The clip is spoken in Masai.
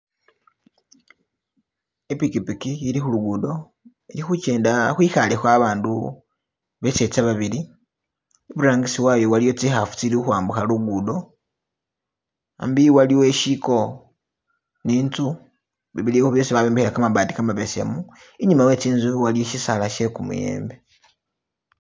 Ipikipiki ili khulugudo ili khujenda khwikalekho abandu beseza babili iburangisi wayo waliyo zinkhafu tsili khukhwambukha lugudo hambi waliwo ishigo ni inzu bibilikho byosi babyombekhela gamabaati gamabesemu inyuma we tsinzu waliyo shisaala she gumuyembe.